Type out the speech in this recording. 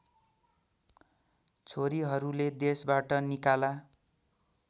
छोरीहरूले देशबाट निकाला